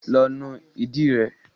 Lọ nu ìdí rẹ.